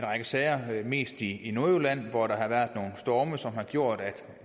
række sager mest i nordjylland hvor der har været nogle storme som har gjort at